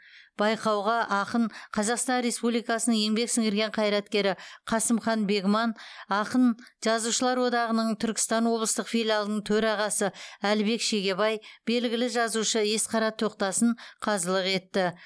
байқауға ақын қазақстан республикасының еңбек сіңірген қайраткері қасымхан бегман ақын қазақстан жазушылар одағының түркістан облыстық филиалының төрағасы әлібек шегебай белгілі жазушы есқара тоқтасын қазылық етті